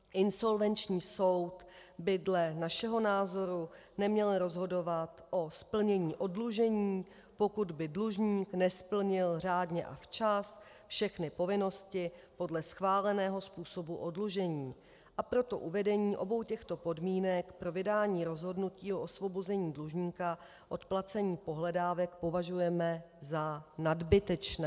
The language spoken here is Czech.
Insolvenční soud by dle našeho názoru neměl rozhodovat o splnění oddlužení, pokud by dlužník nesplnil řádně a včas všechny povinnosti podle schváleného způsobu oddlužení, a proto uvedení obou těchto podmínek pro vydání rozhodnutí o osvobození dlužníka od placení pohledávek považujeme za nadbytečné.